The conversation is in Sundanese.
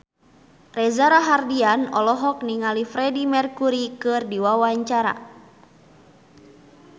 Reza Rahardian olohok ningali Freedie Mercury keur diwawancara